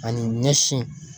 Ani ɲɛsin .